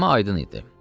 Səma aydın idi.